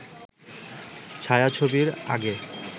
'ছায়া-ছবি'র আগে